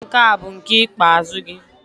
Ọnwụ nke a bụ nke ikpeazụ gị!